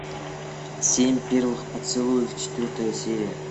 семь первых поцелуев четвертая серия